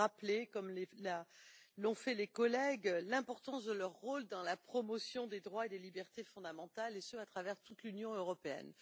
Je voudrais rappeler comme l'ont fait les collègues l'importance de leur rôle dans la promotion des droits et des libertés fondamentales, et ce à travers toute l'Union européenne.